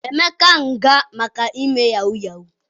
Emeka nga maka ime yahoo yahoo